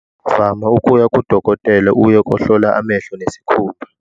Vama ukuya kudokotela uye kohlola amehlo nesikhumba.